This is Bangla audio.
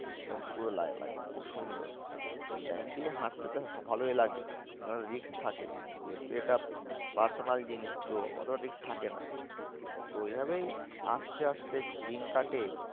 পুরো খুব সুন্দর rail line দিয়ে হাঁটতে তো ভালোই লাগে কিন্তু একটা risk থাকে যেহেতু এটা personal জিনিস তো অত risk থাকে না। তো এই ভাবেই আস্তে আস্তে দিন কাটে